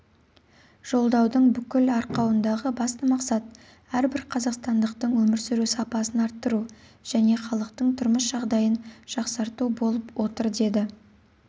жолдаудың бүкіл арқауындағы басты мақсат әрбір қазақстандықтың өмір сүру сапасын арттыру және халықтың тұрмыс жағдайын жақсарту болып отыр деді